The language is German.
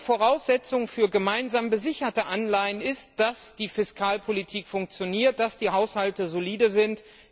Voraussetzung für gemeinsam besicherte Anleihen ist, dass die Fiskalpolitik funktioniert, dass die Haushalte solide sind.